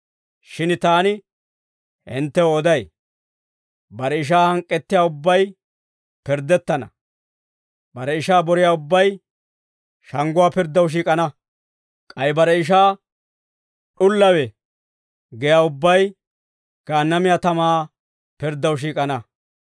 Shin taani hinttew oday; bare ishaa hank'k'ettiyaa ubbay pirddettana; bare ishaa boriyaa ubbay shangguwaa pirddaw shiik'ana; k'ay bare ishaa, ‹D'ullowe› giyaa ubbay Gaannamiyaa tamaa pirddaw shiik'ana.